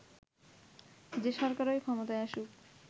যে সরকারই ক্ষমতায় আসুক